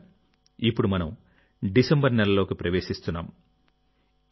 మిత్రులారా ఇప్పుడు మనం డిసెంబర్ నెలలోకి ప్రవేశిస్తున్నాం